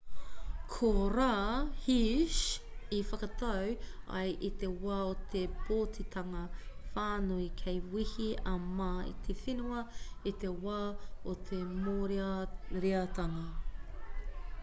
ko rā hsieh i whakatau ai i te wā o te pōtitanga whānui kei wehe a ma i te whenua i te wā o te mōreareatanga